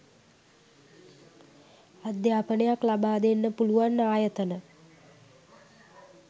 අධ්‍යාපනයක් ලබා දෙන්න පුළුවන් ආයතන